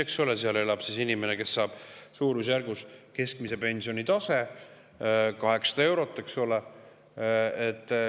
Eeldame, et seal elab inimene, kes saab keskmist pensioni suurusjärgus 800 eurot, eks ole.